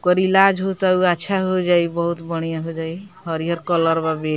ओकर इलाज होता उ अच्छा हो जाई बहुत बढ़ियां हो जाइ हरियर कलर बा --